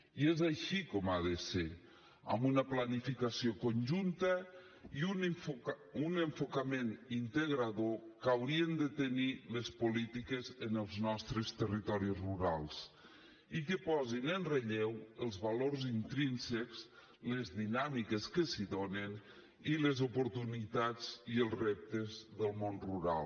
i és així com ha de ser amb una planificació conjunta i un enfocament integrador que haurien de tenir les polítiques en els nostres territoris rurals i que posin en relleu els valors intrínsecs les dinàmiques que s’hi donen i les oportunitats i els reptes del món rural